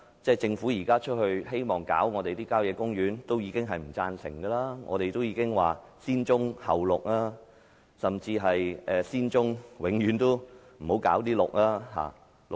政府現時希望碰郊野公園土地，多位議員和公眾均不贊成，我們說要"先棕後綠"，甚至是先處理棕地，永遠都不要搞綠化地帶。